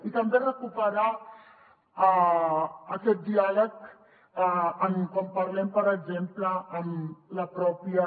i també recuperar aquest diàleg quan parlem per exemple amb la pròpia